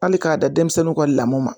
Hali k'a da denmisɛnninw ka lamɔ ma